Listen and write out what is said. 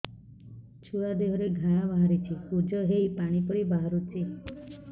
ଛୁଆ ଦେହରେ ଘା ବାହାରିଛି ପୁଜ ହେଇ ପାଣି ପରି ବାହାରୁଚି